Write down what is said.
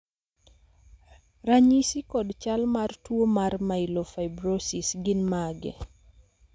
ranyisi kod chal mar tuo mar Myelofibrosis gin mage?